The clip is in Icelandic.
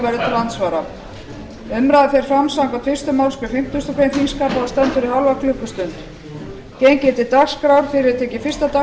til andsvara umræðan fer fram samkvæmt fyrstu málsgrein fimmtíu greinar þingskapa og stendur í hálfa klukkustund